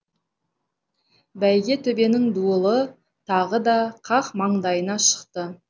бәйге төбенің дуылы тағы да қақ маңдайына шықты